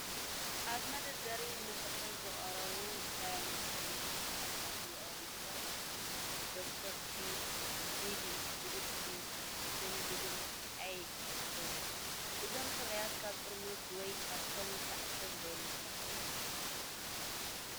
ኣብ መደርደሪ ንመሸጣ ዝቐረቡ ዝተፈላለዩ ናይ ጸጉሪ ሻምፖታት ካብቶም ዝቐረቡ ምልክታት "ዶክተር ዳቪ" ዝበሃል ጅንጅብል ኤል ይርከብዎም። እዞም ፍርያት ኣብ ጥርሙዝ ወይ ካርቶን ዝተዓሸጉ ዶ ይመስሉኹም?